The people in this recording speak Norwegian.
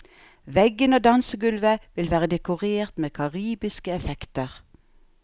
Veggene og dansegulvet vil være dekorert med karibiske effekter.